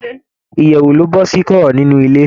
Ìyèwù ni ó bọ́ sí kọ̀rọ̀ nínú ilé.